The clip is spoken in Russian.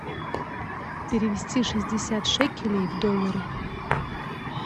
перевести шестьдесят шекелей в доллары